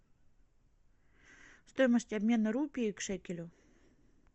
стоимость обмена рупии к шекелю